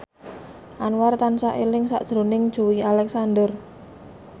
Anwar tansah eling sakjroning Joey Alexander